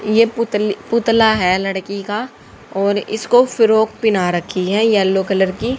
ये पुतले पुतला है लड़की का और इसको फ्रॉक पहना रखी है येलो कलर की।